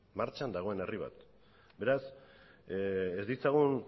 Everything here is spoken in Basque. martxan dagoen herri bat beraz ez ditzagun